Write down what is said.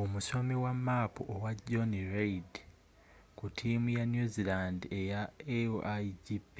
omusomi wa maapu owa jonny reid ku tiimu ya new zealand eya a1gp